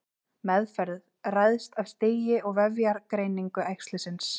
Meðferð ræðst af stigi og vefjagreiningu æxlisins.